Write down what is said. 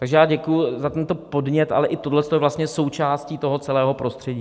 Takže já děkuji za tento podnět, ale i tohle je vlastně součástí toho celého prostředí.